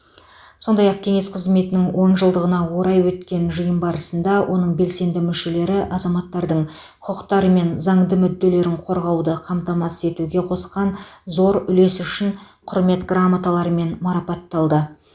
сондай ақ кеңес қызметінің он жылдығына орай өткен жиын барысында оның белсенді мүшелері азаматтардың құқықтары мен заңды мүдделерін қорғауды қамтамасыз етуге қосқан зор үлесі үшін құрмет грамоталарымен марапатталды